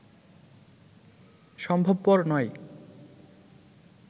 সম্ভবপর নয়